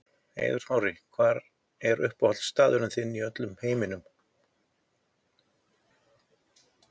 Eiður Smári Hver er uppáhaldsstaðurinn þinn í öllum heiminum?